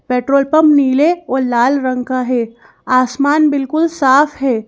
Petrol pump नीले और लाल रंग का है आसमान बिल्कुल साफ है।